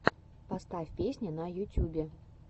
поставь песни в ютюбе